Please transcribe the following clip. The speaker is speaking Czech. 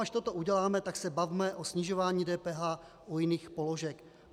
Až toto uděláme, tak se bavme o snižování DPH u jiných položek.